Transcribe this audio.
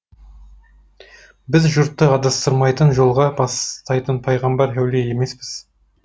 біз жұртты адастырмайтын жолға бастайтын пайғамбар әулие емеспіз